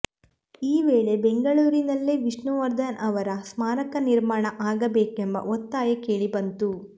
ಈ ವೇಳೆ ಬೆಂಗಳೂರಿನಲ್ಲೇ ವಿಷ್ಣುವರ್ಧನ್ ಅವರ ಸ್ಮಾರಕ ನಿರ್ಮಾಣ ಆಗಬೇಕೆಂಬ ಒತ್ತಾಯ ಕೇಳಿ ಬಂತು